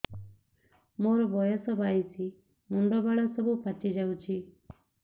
ମୋର ବୟସ ବାଇଶି ମୁଣ୍ଡ ବାଳ ସବୁ ପାଛି ଯାଉଛି